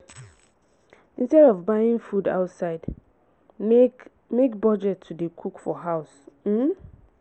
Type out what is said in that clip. instead of buying food outside make make budget to dey cook for house um